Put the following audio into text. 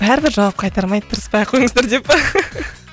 бәрібір жауап қайтармайды тырыспай қойыңыздар деп па